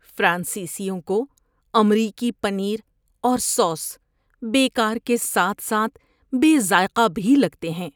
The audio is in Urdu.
فرانسیسیوں کو امریکی پنیر اور سوس بیکار کے ساتھ ساتھ بے ذائقہ بھی لگتے ہیں۔